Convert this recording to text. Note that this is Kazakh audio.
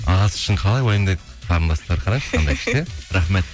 ағасы үшін қалай уайымдайды қарындастары қарашы күшті иә рахмет